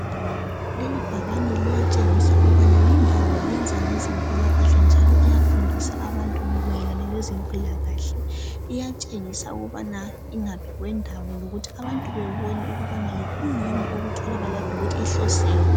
Leli bhakane liyatshengisa ukubana lindawo iyenza ngezempilakahle njalo iyafundisa abantu mayelana lezempilakahle. Iyatshengisa ukubana ingaphi kwendawo lokuthi abantu bebone ukubana yikwiyini okutholakalayo lokuthi ihloseni.